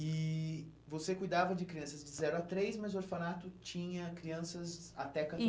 E você cuidava de crianças de zero a três, mas o orfanato tinha crianças até